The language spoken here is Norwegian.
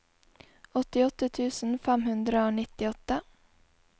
åttiåtte tusen fem hundre og nittiåtte